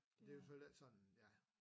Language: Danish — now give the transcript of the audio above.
Det jo så lidt sådan ja